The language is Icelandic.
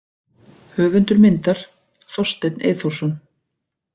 Höfundur myndar: Þorsteinn Eyþórsson.